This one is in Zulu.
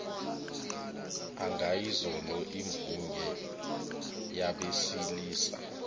angayizolo imvunge yabesilisa